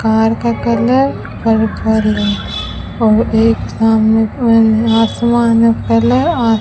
car का colour purple है और एक सामने आसमान है फैला --